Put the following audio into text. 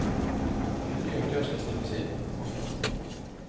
En ny aktør skal slippes inn. punktum